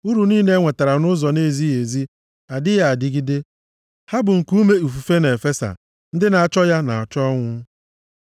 Uru niile enwetara nʼụzọ na-ezighị ezi adịghị adịgide, ha bụ nkuume ifufe na-efesa, ndị na-achọ ya na-achọ ọnwụ.